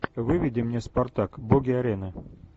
выведи мне спартак боги арены